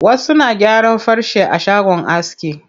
Wasu na gyaran farce a shagon aski.